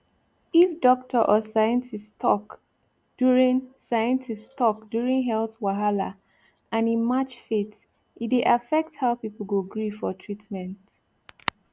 if doctor or scientist talk during scientist talk during health wahala and e match faith e dey affect how people go gree for treatment